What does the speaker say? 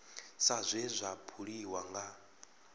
sa zwe zwa buliwa nga